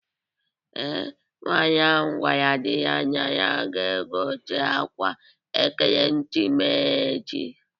Ee, nwaanyị gwara di ya na ya ga-egote akwa ekeremesis